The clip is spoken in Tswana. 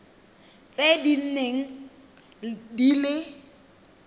tse di neng di le